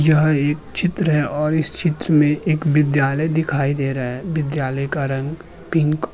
यह एक चित्र है और इस चित्र में एक विद्यालय दिखाई दे रहा है। विद्यालय का रंग पिंक --